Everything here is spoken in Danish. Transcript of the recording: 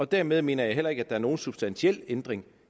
dermed mener jeg heller ikke at der er nogen substantiel ændring